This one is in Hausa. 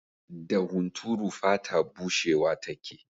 Da hunturu fata bushewa take.